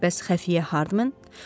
Bəs xəfiyyə Hardmen?